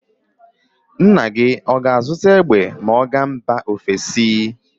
Nna gị ọ ga-azụta egbe ma ọ gaa mba ofesi.